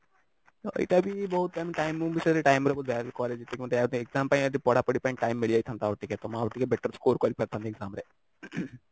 ତ ଏଇଟା ବି ବହୁତ ମାନେ time ମୁଁ ବି time ର ବହୁତ value କରେ କି exam ପାଇଁ ପଢାପଢି ପାଇଁ time ମିଳି ଯାଇଥାନ୍ତା ଆଉ ଟିକେ ତ ମୁଁ ଆଉ ଟିକେ better score କରି ପାରିଥାନ୍ତି exam ରେ